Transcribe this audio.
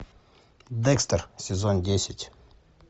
декстер сезон десять